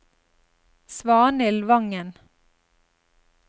Svanhild Vangen